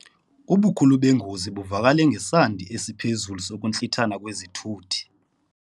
Ubukhulu bengozi buvakale ngesandi esiphezulu sokuntlithana kwezithuthi.